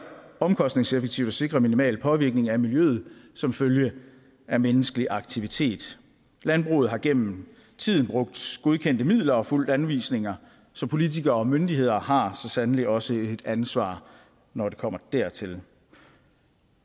omkostningseffektivt at sikre en minimal påvirkning af miljøet som følge af menneskelig aktivitet landbruget har gennem tiden brugt godkendte midler og fulgt anvisninger så politikere og myndigheder har så sandelig også et ansvar når det kommer dertil